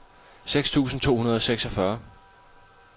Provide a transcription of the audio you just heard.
seks tusind to hundrede og seksogfyrre